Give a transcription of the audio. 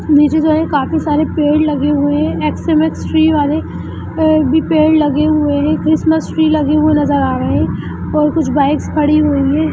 नीचे जो है काफी सारे पेड़ लगे हुए हैं एक्स-मस ट्री वाले भी पेड़ लगे हुए हैं क्रिसमस ट्री लगे हुए नजर आ रहे हैं और कुछ बाइक्स खड़ी हुई हैं।